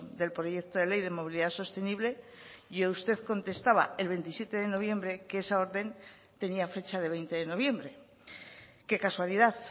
del proyecto de ley de movilidad sostenible y usted contestaba el veintisiete de noviembre que esa orden tenía fecha de veinte de noviembre qué casualidad